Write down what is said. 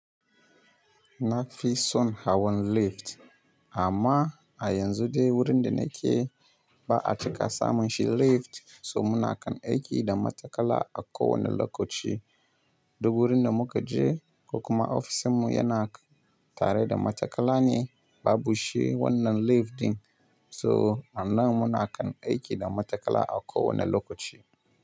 Na fi son hawan lift amma a yanzu dai wurin da nake ba a cika samun shi lift so muna kan aiki da matakala a kowane lokaci. Duk wurin da muka je ko kuma ofishinmu yana tare da matakala ne babu shi wannan lift din so a nan muna kan aiki da matakala a kowane lokaci.